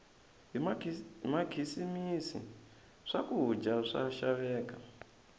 hi makhisimisi swakudya swa xaveka